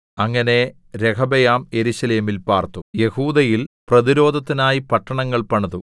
അങ്ങനെ രെഹബെയാം യെരൂശലേമിൽ പാർത്തു യെഹൂദയിൽ പ്രതിരോധത്തിനായി പട്ടണങ്ങൾ പണിതു